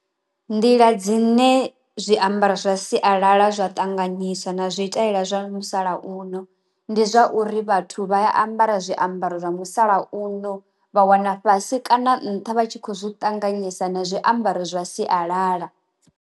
Nḓila dzine zwiambaro zwa sialala zwa ṱanganyisa na zwiṱalela zwa musalauno, ndi zwa uri vhathu vha ambara zwiambaro zwa musalauno vha wana fhasi kana nṱha vha tshi kho zwi ṱanganyisa na zwiambaro zwa sialala.